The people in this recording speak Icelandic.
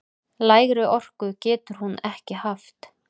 Lægri orku getur hún ekki haft!